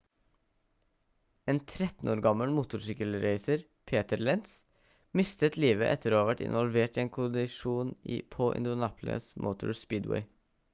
en 13 år gammel motorsykkelracer peter lenz mistet livet etter å ha vært involvert i en kollisjon på indianapolis motor speedway